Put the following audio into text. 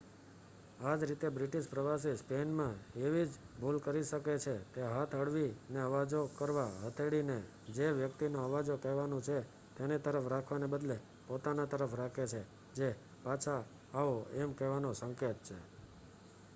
આજ રીતે બ્રિટિશ પ્રવાસી સ્પેન માં એવી જ ભૂલ કરી શકે છે તે હાથ હળવી ને આવજો કરવા હથેળી ને જે વ્યક્તિ ને આવજો કહેવાનું છે તેની તરફ રાખવાના બદલે પોતાના તરફ રાખે છે જે પાછા આવો એમ કહેવાનો સંકેત છે